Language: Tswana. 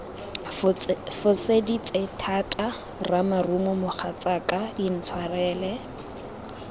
foseditse thata ramarumo mogatsaka intshwarele